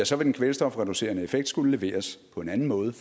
så vil den kvælstofreducerende effekt skulle leveres på en anden måde